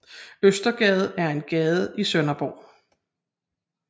Østergade er en gade i Sønderborg